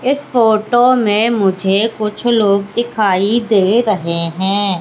इस फोटो में मुझे कुछ लोग दिखाई दे रहे हैं।